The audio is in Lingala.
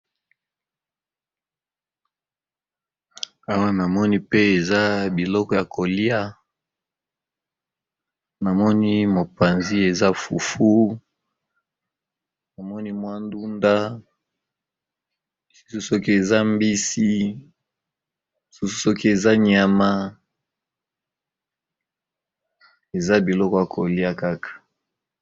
Awa namoni pe eza biloko ya koliya namoni mopanzi eza fufu, ndunda sokî eza mbisi sokî nyama namoni Kaka eza biloko ya koliya.